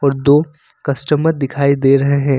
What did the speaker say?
दो कस्टमर दिखाई दे रहे हैं।